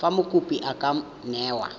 fa mokopi a ka newa